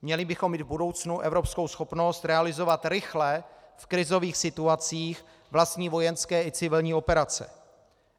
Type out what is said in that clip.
Měli bychom mít v budoucnu evropskou schopnost realizovat rychle v krizových situacích vlastní vojenské i civilní operace.